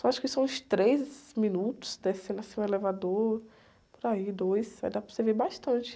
Só acho que são uns três minutos descendo assim o elevador, por aí, dois, aí dá para você ver bastante.